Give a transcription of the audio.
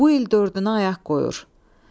Bu il dördünə ayaq qoyur.